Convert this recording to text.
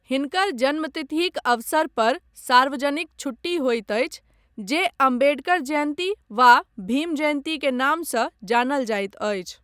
हिनकर जन्मतिथिक अवसर पर सार्वजनिक छुट्टी होइत अछि जे अम्बेडकर जयन्ती वा भीम जयन्ती के नामसँ जानल जाइत अछि।